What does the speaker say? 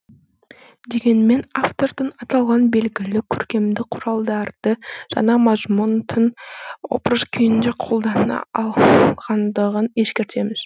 дегенмен автордың аталған белгілі көркемдік құралдарды жаңа мазмұн тың образ күйінде қолдана алғандығын ескертеміз